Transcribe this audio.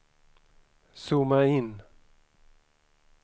zooma in